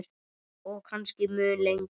Og kannski mun lengur.